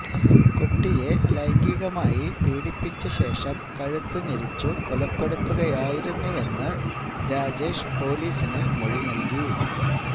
കുട്ടിയെ ലൈംഗികമായി പീഡിപ്പിച്ച ശേഷം കഴുത്തു ഞെരിച്ചു കൊലപ്പെടുത്തുകയായിരുന്നുവെന്നു രാജേഷ് പൊലിസിനു മൊഴി നൽകി